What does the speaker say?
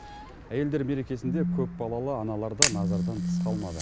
әйелдер мерекесінде көпбалалы аналар да назардан тыс қалмады